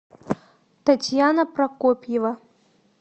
татьяна прокопьева